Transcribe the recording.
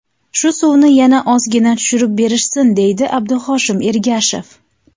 Shu suvni yana ozgina tushirib berishsin”, deydi Abduhoshim Ergashev.